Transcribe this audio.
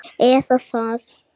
Eða það vona ég,